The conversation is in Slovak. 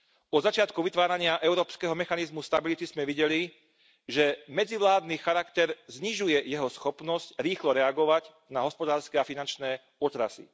Od začiatku vytvárania Európskeho mechanizmu pre stabilitu sme videli, že medzivládny charakter znižuje jeho schopnosť rýchlo reagovať na hospodárske a finančné otrasy.